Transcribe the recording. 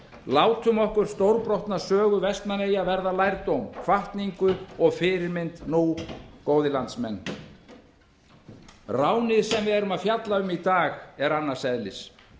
látum okkur stórbrotna sögu vestmannaeyja verða lrædóm hvatningu og fyrirmynd nú góðir landsmenn ránið sem við erum að fjalla um í dag er annars eðlis